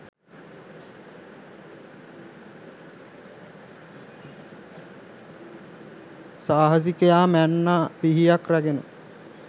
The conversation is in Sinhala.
සාහසිකයා මන්නා පිහියක්‌ රැගෙන